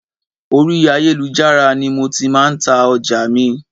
Orí ayélujára ni mo ti máa ń ta ọjà mi